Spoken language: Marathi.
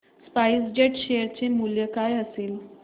स्पाइस जेट शेअर चे मूल्य काय असेल